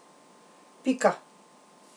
Pika.